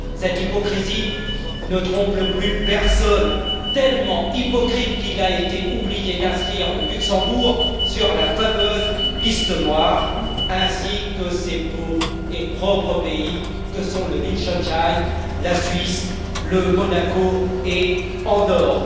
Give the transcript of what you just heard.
Cette hypocrisie ne trompe plus personne, tellement hypocrite qu'il a été oublié d'inscrire le Luxembourg sur la fameuse liste noire, ainsi que ces beaux et propres pays que sont le Liechtenstein, la Suisse, Monaco et Andorre.